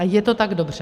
A je to tak dobře.